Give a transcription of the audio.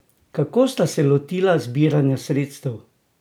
Kako sta se lotila zbiranja sredstev?